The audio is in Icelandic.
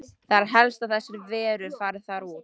Það er helst að þessar verur fari þar út.